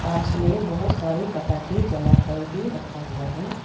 पास में बहुत सारे पटाखे जला कर भी रखा हुआ है।